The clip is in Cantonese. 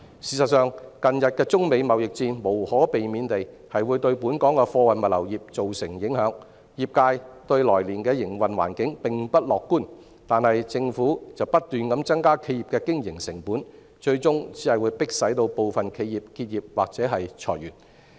事實上，近日的中美貿易戰無可避免地會對本港的貨運物流業造成影響，業界對來年的營運環境並不樂觀，但政府卻不斷增加企業的經營成本，最終只會迫使部分企業結業或裁員。